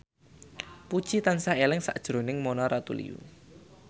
Puji tansah eling sakjroning Mona Ratuliu